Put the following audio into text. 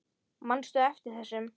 Manstu eftir þessum?